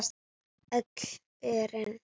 Öll örin.